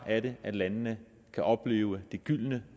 er det at landene kan opleve det gyldne